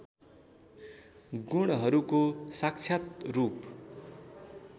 गुणहरूको साक्षात रूप